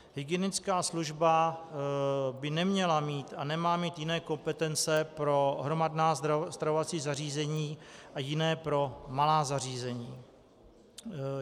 Hygienická služba by neměla mít a nemá mít jiné kompetence pro hromadná stravovací zařízení a jiné pro malá zařízení.